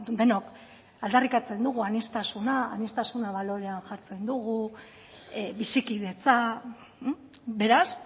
denok aldarrikatzen dugu aniztasuna aniztasuna balorean jartzen dugu bizikidetza beraz